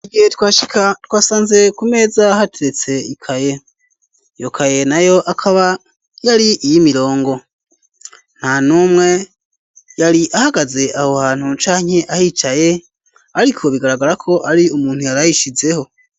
Igihe twashika twasanze ku meza hateretse ikaye, iyokaye na yo akaba yari iyimirongo, nta numwe yari ahagaze aho hantu canke ahicaye, ariko bigaragara ko ari umuntu yarayishizeho.